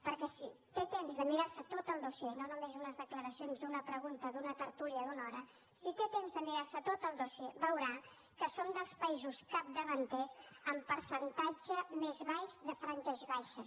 perquè si té temps de mirar se tot el dossier no només unes declaracions d’una pregunta d’una tertúlia d’una hora veurà que som dels països capdavanters en percentatge més baix de franges baixes